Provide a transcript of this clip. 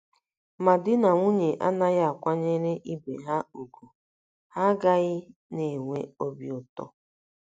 “ Ma di na nwunye anaghị akwanyere ibe ha ùgwù, ha agaghị na - enwe obi ụtọ.